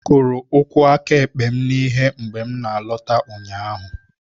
M kụrụ ụkwụ aka ekpe m na ihe mgbe m na-alọta ụnyaahụ